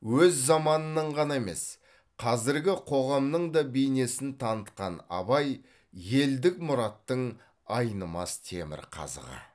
өз заманының ғана емес қазіргі қоғамның да бейнесін танытқан абай елдік мұраттың айнымас темірқазығы